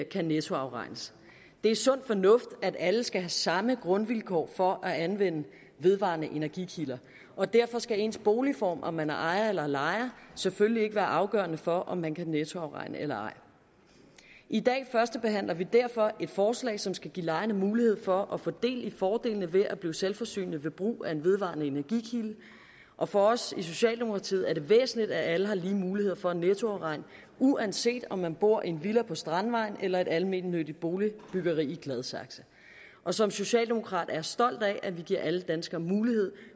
kan nettoafregnes det er sund fornuft at alle skal have samme grundvilkår for at anvende vedvarende energikilder og derfor skal ens boligform altså om man er ejer eller lejer selvfølgelig ikke være afgørende for om man kan nettoafregne eller ej i dag førstebehandler vi derfor et forslag som skal give lejerne mulighed for at få del i fordelene ved at blive selvforsynende ved brug af en vedvarende energikilde og for os i socialdemokratiet er det væsentligt at alle har lige muligheder for at nettoafregne uanset om man bor i en villa på strandvejen eller i et almennyttigt boligbyggeri i gladsaxe og som socialdemokrat er jeg stolt af at vi giver alle danskere mulighed